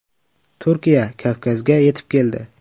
Turkiya Kavkazga yetib keldi.